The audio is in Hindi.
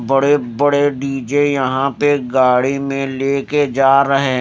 बड़े बड़े डी_जे यहाँ पे गाड़ी में लेके जा रहे हैं।